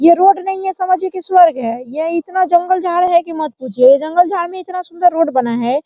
यह रोड नहीं है समझिए कि यह स्वर्ग है ये इतना जंगल-झाड़ है कि मत पूछिए ये जंगल-झाड़ में इतना सुंदर रोड बना है।